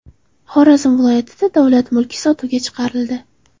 Xorazm viloyatida davlat mulki sotuvga chiqarildi.